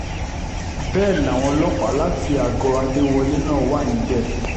bẹ́ẹ̀ làwọn ọlọ́pàá láti àgọ́ adéwọlé náà wà níbẹ̀